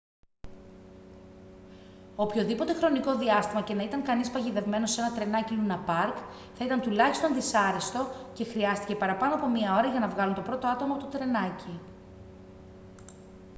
οποιοδήποτε χρονικό διάστημα και να ήταν κανείς παγιδευμένος σε ένα τρενάκι λούνα παρκ θα ήταν τουλάχιστον δυσάρεστο και χρειάστηκε παραπάνω από μία ώρα για να βγάλουν το πρώτο άτομο από το τρενάκι»